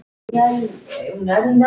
En hvar var Stína?